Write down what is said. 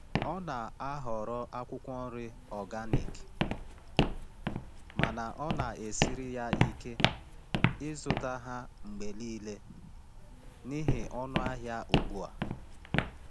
Ọ na-ahọrọ akwụkwọ nri organic mana ọ na-esiri ya ike ịzụta ha mgbe niile n’ihi ọnụ ahịa ugbu a.